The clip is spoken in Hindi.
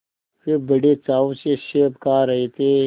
वे बड़े चाव से सेब खा रहे थे